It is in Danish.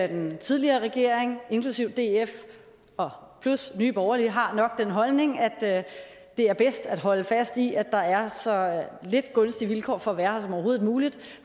den tidligere regering inklusive df og plus nye borgerlige har nok den holdning at det er bedst at holde fast i at der er så lidt gunstige vilkår for at være her som overhovedet muligt